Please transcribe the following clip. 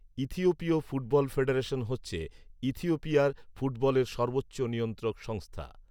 ইথিওপিয় football federation হচ্ছে ইথিওপিয়ার ফুটবলের সর্বোচ্চ নিয়ন্ত্রক সংস্থা